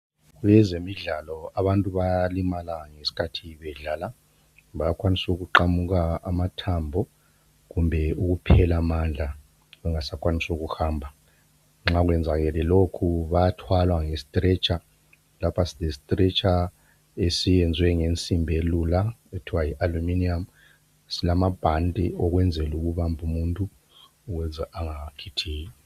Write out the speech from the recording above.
Kwezemidlalo abantu bayalimala ngesikhathi bedlala . Bayakwanisa ukuqamuka amathambo kumbe ukuphela amandla bengasakwanisi ukuhamba. Nxa kwezakele lokho bayathwalwa nge stretcher. Lapha sile stretcher esiyenziwe ngensimbi elula okuthiwa yi aluminium. Silamabhani okwenzela ukubamba umuntu ukuze angakhithiki.